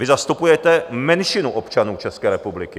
Vy zastupujete menšinu občanů České republiky.